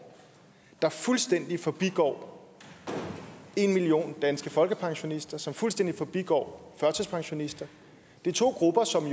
der fuldstændig forbigår en million danske folkepensionister og som fuldstændig forbigår førtidspensionister det er to grupper som